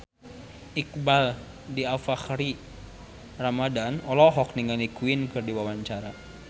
Iqbaal Dhiafakhri Ramadhan olohok ningali Queen keur diwawancara